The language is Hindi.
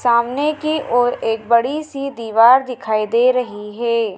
सामने की ओर एक बड़ीसी दीवार दिखाई दे रही है।